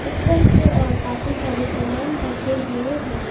ऊपर के ओर काफी सारे समान रखे हुए हैं।